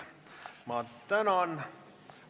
Ma tänan!